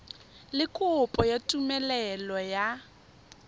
le kopo ya tumelelo ya